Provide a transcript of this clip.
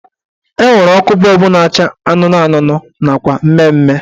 Enwere ọkụ bọọbụ na-acha anụnụ anụnụ nakwa mmemme